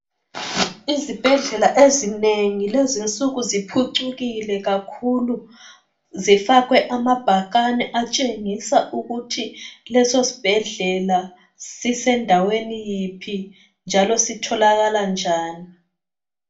Izibhedlela ezinengi lezi nsuku ziphucukile kakhulu. Zifakwe amabhakane atshengisa ukuthi lesosibhedlela sisendaweni yiphi njalo sitholala njani.